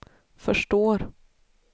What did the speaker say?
förstår